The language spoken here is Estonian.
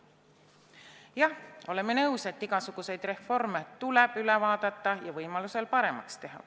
Jah, oleme nõus, et igasuguseid reforme tuleb üle vaadata ja võimaluse korral paremaks teha.